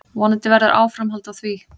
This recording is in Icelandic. Vonandi verður áframhald á því.